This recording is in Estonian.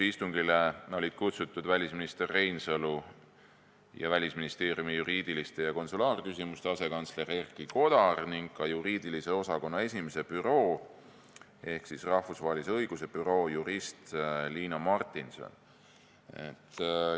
Istungile olid kutsutud välisminister Reinsalu ning Välisministeeriumi juriidiliste ja konsulaarküsimuste asekantsler Erki Kodar ning ka juriidilise osakonna 1. büroo ehk rahvusvahelise õiguse büroo jurist Liina Martinson.